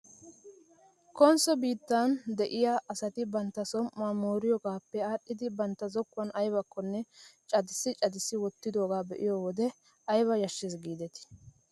Konsso biirttaaa de'iyaa asati bantta som''uwaa mooriyoogaappe aadhdhidi bantta zokkuwan aybakkonne cadissi cadissidi wottidoogaa be'iyoo wode ayba yashshes giidetii .